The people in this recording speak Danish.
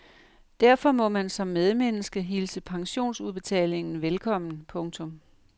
Derfor må man som medmenneske hilse pensionsudbetalingen velkommen. punktum